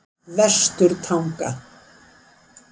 Vesturtanga